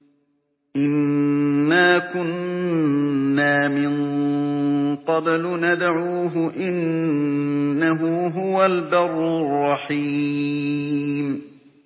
إِنَّا كُنَّا مِن قَبْلُ نَدْعُوهُ ۖ إِنَّهُ هُوَ الْبَرُّ الرَّحِيمُ